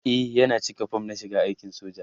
e Yana cika form na shiga aikin soja